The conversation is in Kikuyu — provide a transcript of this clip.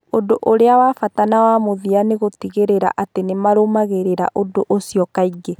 Ũndũ ũrĩa wa bata na wa mũthia nĩ gũtigĩrĩra atĩ nĩ marũmagĩrĩra ũndũ ũcio kaingĩ.